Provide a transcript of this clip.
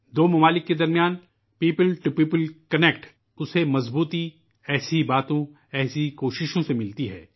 دونوں ممالک کی عوام سے عوام کے درمیان طاقت کو اس طرح کی پہل قدمیوں اور کوششوں سے تقویت حاصل ہوتی ہے